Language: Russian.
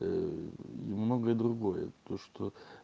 ээ и многое другое то что